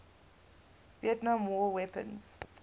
vietnam war weapons